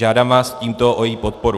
Žádám vás tímto o její podporu.